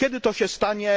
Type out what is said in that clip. Kiedy to się stanie?